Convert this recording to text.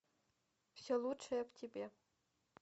все лучшее в тебе